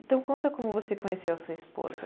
Então conta como você conheceu a sua esposa.